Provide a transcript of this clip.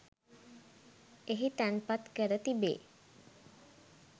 එහි තැන්පත් කර තිබේ.